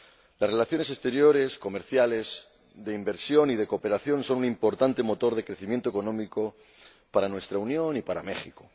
Las relaciones exteriores, comerciales, de inversión y de cooperación son un importante motor de crecimiento económico para nuestra Unión y para México.